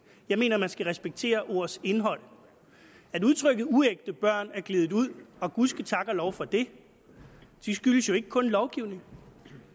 jeg mener at man skal respektere ordenes indhold at udtrykket uægte børn er gledet ud og gud ske tak og lov for det skyldes jo ikke kun lovgivningen